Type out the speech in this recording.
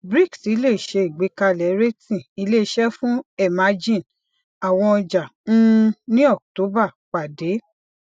brics le se igbekale rating ile ise fun emerging awọn ọja um ni october pade